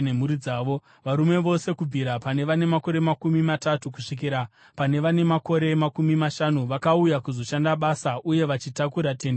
Varume vose kubvira pane vane makore makumi matatu kusvikira pane vane makore makumi mashanu vakauya kuzoshanda basa uye vachitakura Tende Rokusangana,